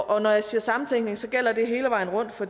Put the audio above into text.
og når jeg siger samtænkning gælder det hele vejen rundt for